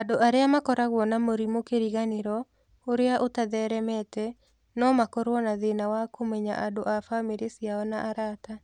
Andũ arĩa makoragwo na mũrimũ kĩriganĩro ũrĩa ũtatheeremete, no makorũo na thĩĩna wa kũmenya andũ a bamirĩ ciao na arata.